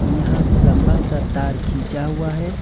यहां लंबा सा तार खींचा हुआ है।